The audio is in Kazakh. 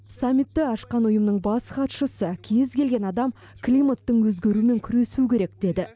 самитті ашқан ұйымның бас хатшысы кез келген адам климаттың өзгеруімен күресу керек деді